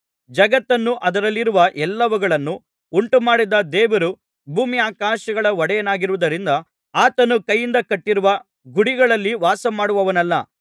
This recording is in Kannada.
ಜಗತ್ತನ್ನೂ ಅದರಲ್ಲಿರುವ ಎಲ್ಲವುಗಳನ್ನೂ ಉಂಟುಮಾಡಿದ ದೇವರು ಭೂಮ್ಯಾಕಾಶಗಳ ಒಡೆಯನಾಗಿರುವುದರಿಂದ ಆತನು ಕೈಯಿಂದ ಕಟ್ಟಿರುವ ಗುಡಿಗಳಲ್ಲಿ ವಾಸಮಾಡುವವನಲ್ಲ